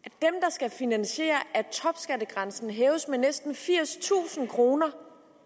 skal finansiere at topskattegrænsen hæves med næsten firstusind kr